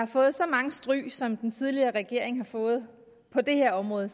fået så mange stryg som den tidligere regering har fået på det her område